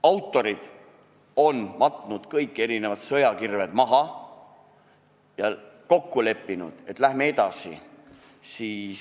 Autorid on kõik sõjakirved maha matnud ja kokku leppinud, et läheme edasi.